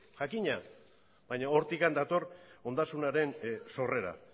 jakina baina hortik dator ondasunaren sorrera